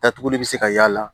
Datuguli bi se ka y'a la